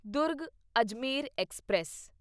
Durg Ajmer express